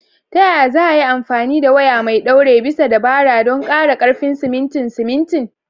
Ta yaya za a iya amfani da waya mai ɗaure bisa dabara don ƙara ƙarfin simintin simintin?